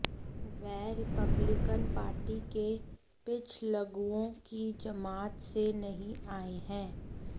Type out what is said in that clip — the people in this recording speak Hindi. वह रिपब्लिकन पार्टी के पिछलग्गुओं की जमात से नहीं आए हैं